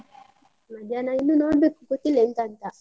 ಮಧ್ಯಾಹ್ನ ಇನ್ನು ನೋಡ್ಬೇಕು, ಗೊತ್ತಿಲ್ಲ ಎಂತ ಅಂತ.